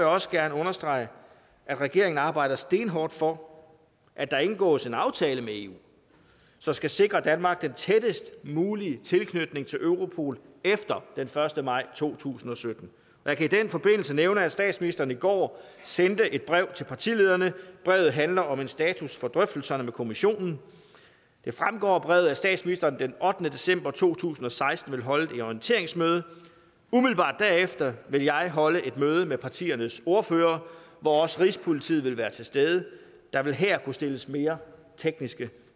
også gerne understrege at regeringen arbejder stenhårdt for at der indgås en aftale med eu som skal sikre danmark den tættest mulige tilknytning til europol efter den første maj to tusind og sytten jeg kan i den forbindelse nævne at statsministeren i går sendte et brev til partilederne brevet handler om en status for drøftelserne med kommissionen det fremgår af brevet at statsministeren den ottende december to tusind og seksten vil holde et orienteringsmøde umiddelbart derefter vil jeg holde et møde med partiernes ordførere hvor også rigspolitiet vil være til stede der vil her kunne stilles mere tekniske